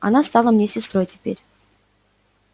она стала мне сестрой теперь